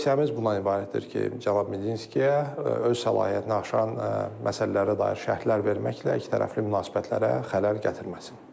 Tövsiyəmiz bundan ibarətdir ki, cənab Medinskiyə öz səlahiyyətini aşan məsələlərə dair şərhlər verməklə ikitərəfli münasibətlərə xələl gətirməsin.